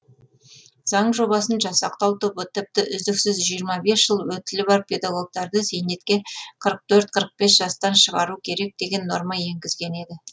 заң жобасын жасақтау тобы тіпті үздіксіз жиырма бес жыл өтілі бар педагогтарды зейнетке қырық төрт қырық бес жастан шығару керек деген норма енгізген еді